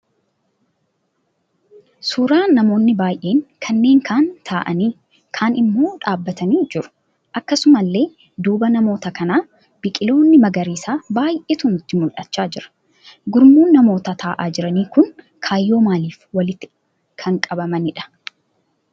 Suuraa namoonni baay'een kanneen kaan ta'aanii kaan immoo dhaabbatanii jiru. Akkasumallee duuba namoota kanaa biqiloonni magariisaa baay'eetu nutti mul'achaa jira. Gurmuun namoota ta'aa jiranii kun kaayyoo maaliif walitti kan qabamaniidha?